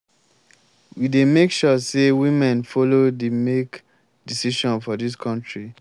we dey make sure sey women folo dey make decision for dis country.